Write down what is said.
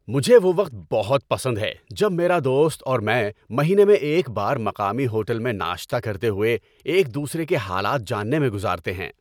مجھے وہ وقت بہت پسند ہے جب میرا دوست اور میں مہینے میں ایک بار مقامی ہوٹل میں ناشتہ کرتے ہوئے ایک دوسرے کے حالات جاننے میں گزارتے ہیں۔